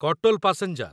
Katol passenger